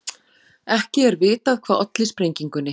Ekki er vitað hvað olli sprengingunni